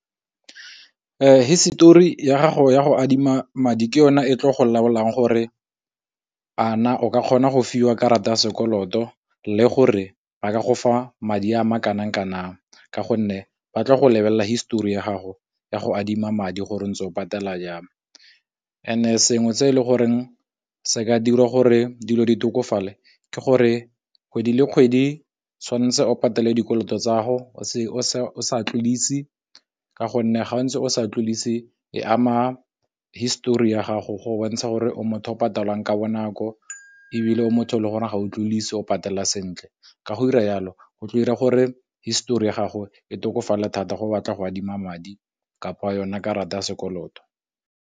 Histori ya gago ya go adima madi ke yona e tlo go laolang gore a na o ka kgona go fiwa karata ya sekoloto le gore ba ka go fa madi a ma kanang kanang, ka gonne ba tlo go lebelela histori ya gago ya go adima madi gore o ntse o patela jang, sengwe se e le goreng se ka dira gore dilo di tlhokofale ke gore kgwedi le kgwedi tshwanetse o patele dikoloto tsago se o se sa tlodise ka gonne ga o ntse o sa tlodise e ama histori ya gago go bontsha gore o motho o patalang ka bonako, ebile motho o le gore ga o patella sentle ka go dira yalo go tlo ira gore histori ya gago e tokafala thata go batla go adima madi kapa wa yone karata ya sekoloto.